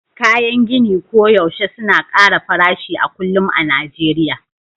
kayan gini koyaushe suna ƙara farashi a kullum a Najeriya